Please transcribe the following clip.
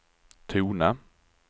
tona